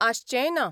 आसचेंय ना.